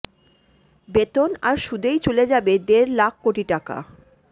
বেতন আর সুদেই চলে যাবে দেড় লাখ কোটি টাকা